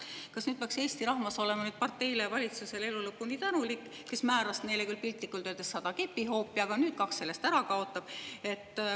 Kas Eesti rahvas peaks olema elu lõpuni tänulik parteile ja valitsusele, kes määras neile küll piltlikult öeldes sada kepihoopi, aga nüüd kaks neist ära kaotab?